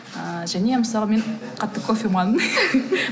ыыы және мысалы мен қатты кофеманмын